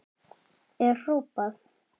er hrópað.